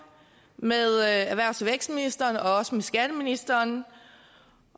med erhvervs og vækstministeren og også med skatteministeren